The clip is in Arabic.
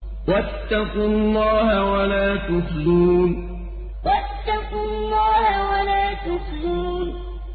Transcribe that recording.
وَاتَّقُوا اللَّهَ وَلَا تُخْزُونِ وَاتَّقُوا اللَّهَ وَلَا تُخْزُونِ